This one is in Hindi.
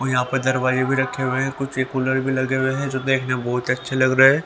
और यहां पर दरवाजे भी रखे हुए है कुर्सी कूलर भी लगे हुए जो देखने में बहोत अच्छे लग रहे।